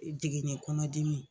Jiginni kɔnɔ dimi.